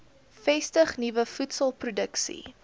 vestig nuwe voedselproduksie